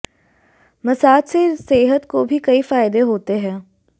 massage से सेहत को भी कई फायदे होते हैं